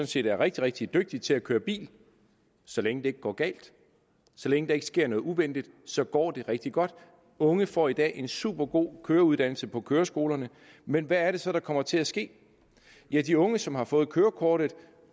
set er rigtig rigtig dygtige til at køre bil så længe det ikke går galt så længe der ikke sker noget uventet så går det rigtig godt unge får i dag en supergod køreuddannelse på køreskolerne men hvad er det så der kommer til at ske de unge som har fået kørekortet